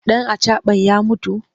Ɗan acaɓan ya mutu?